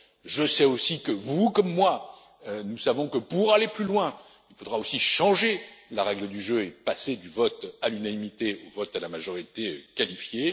Je sais aussi que, vous, comme moi, nous savons que, pour aller plus loin, il faudra aussi changer la règle du jeu et passer du vote à l'unanimité au vote à la majorité